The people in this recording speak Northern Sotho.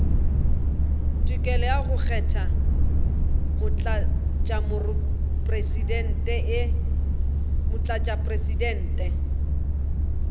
tokelo ya go kgetha motlatšamopresidente